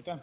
palun!